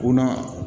O na